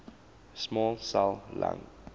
small cell lung